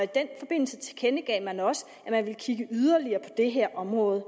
den forbindelse tilkendegav man også at man ville kigge yderligere på det her område